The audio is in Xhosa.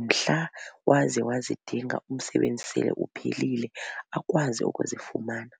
mhla waze wazidinga umsebenzi sele uphelile akwazi ukuzifumana.